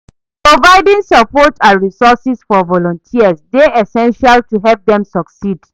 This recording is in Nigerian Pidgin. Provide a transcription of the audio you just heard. Providing support and resources for volunteers dey essential to help dem succeed.